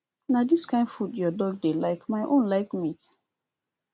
na dis kin food your dog dey like my own like meat